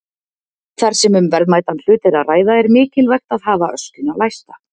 Þar sem um verðmætan hlut er að ræða er mikilvægt að hafa öskjuna læsta.